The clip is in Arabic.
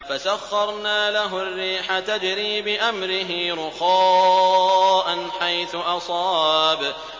فَسَخَّرْنَا لَهُ الرِّيحَ تَجْرِي بِأَمْرِهِ رُخَاءً حَيْثُ أَصَابَ